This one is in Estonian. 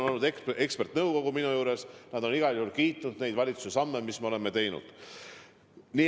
Minule on abiks olnud eksperdinõukogu ja nad on igal juhul kiitnud neid valitsuse samme, mis me oleme teinud.